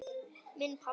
Minn pabbi.